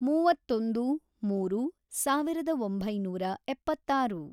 ಮೂವತ್ತೊಂದು, ಮೂರು, ಸಾವಿರದ ಒಂಬೈನೂರ ಎಪ್ಪತ್ತಾರು